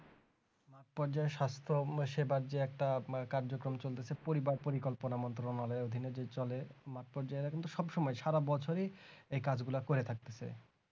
পর্যায় সক্ষম সেবার যে একটা কার্যক্রম চলতেছে পরিবার কল্পনার মন্ত্র আমাদের অধীনে যে চলে মাঠ পর্যায়ে এখন তো সব সময় সারা বছরই এই কাজ গুলো করে থাকতেছে